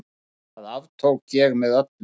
Það aftók ég með öllu.